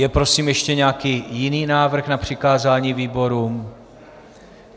Je prosím ještě nějaký jiný návrh na přikázání výborům?